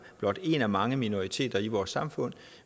blot en af mange minoriteter i vores samfund